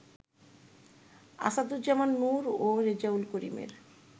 আসাদুজ্জামান নূর ও রেজাউল করিমের